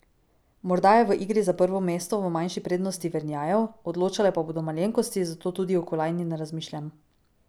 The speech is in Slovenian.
Morda je v igri za prvo mesto v manjši prednosti Vernjajev, odločale pa bodo malenkosti, zato tudi o kolajni ne razmišljam.